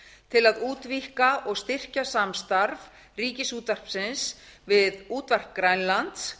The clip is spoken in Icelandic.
til að útvíkka og styrkja samstarf ríkisútvarpsins við útvarp grænland